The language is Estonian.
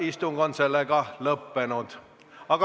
Istungi lõpp kell 13.49.